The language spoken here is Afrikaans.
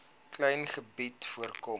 klein gebied voorkom